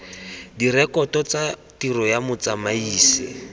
direkoto tsa tiro ya motsamaisi